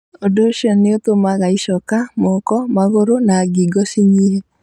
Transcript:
Ũndũ ũcio nĩ ũtũmaga icoka, moko, magũrũ, na ngingo cinyihe.